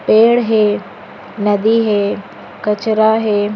पेड़ हे नदी हे कचरा हे।